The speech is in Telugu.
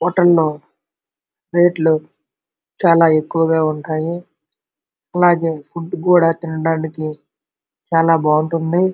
హోటల్లో రేట్లు చాలా ఎక్కువగా ఉంటాయి అలాగే తినడానికి కూడా చాలా బాగుంటాయి.